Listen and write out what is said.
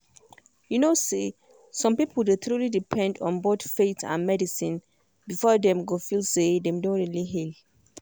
you know say some people dey truly depend on both faith and medicine before dem go feel say dem don really heal.